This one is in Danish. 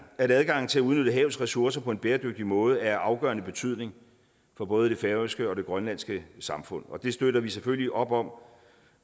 at adgangen til at udnytte havets ressourcer på en bæredygtig måde er af afgørende betydning for både det færøske og det grønlandske samfund og det støtter vi selvfølgelig op om